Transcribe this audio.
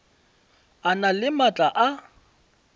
a na le maatla a